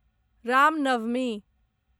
Ram Navami